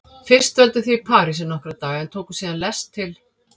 Fyrst dvöldu þau í París í nokkra daga en tóku síðan lest til